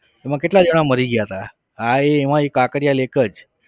એમાં કેટલા જણા મરી ગયા હતા હા એ એમાં કાંકરિયા lake જ